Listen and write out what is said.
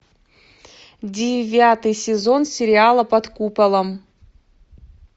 девятый сезон сериала под куполом